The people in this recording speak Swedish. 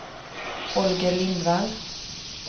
Holger Lindvall